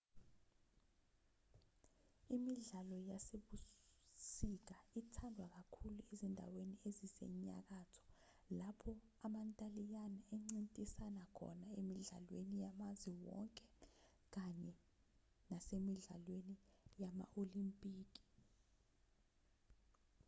imidlalo yasebusika ithandwa kakhulu ezindaweni ezisenyakatho lapho amantaliyane encintisana khona emidlalweni yamazwe onke kanye nasemidlalweni yama-olimpiki